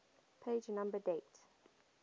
page number date